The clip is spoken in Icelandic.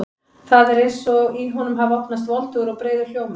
Það er eins og í honum hafi opnast voldugur og breiður hljómur.